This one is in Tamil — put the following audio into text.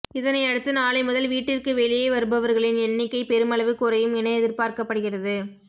இதனை அடுத்து நாளை முதல் வீட்டிற்கு வெளியே வருபவர்களின் எண்ணிக்கை பெருமளவு குறையும் என எதிர்பார்க்கப்படுகிறது